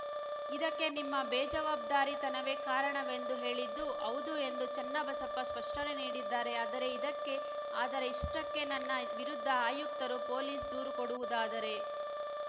ಇದಕ್ಕೆ ನಿಮ್ಮ ಬೇಜವಬ್ದಾರಿತನವೇ ಕಾರಣವೆಂದು ಹೇಳಿದ್ದು ಹೌದು ಎಂದು ಚನ್ನಬಸಪ್ಪ ಸ್ಪಷ್ಟನೆ ನೀಡಿದ್ದಾರೆ ಆದರೆ ಇದಕ್ಕೆ ಆದರೆ ಇಷ್ಟಕ್ಕೆ ನನ್ನ ವಿರುದ್ದ ಆಯುಕ್ತರು ಪೊಲೀಸ್‌ ದೂರು ಕೊಡುವುದಾದರೆ